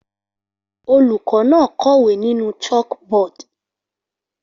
Olùkọ́ náà kọ̀wé nínú chalkboard